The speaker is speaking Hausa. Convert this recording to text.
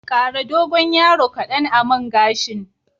Ƙara dogon yaro kadan a man gashin.